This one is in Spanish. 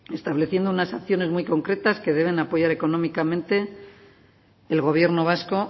estableciendo unas acciones muy concretas que debe apoyar económicamente el gobierno vasco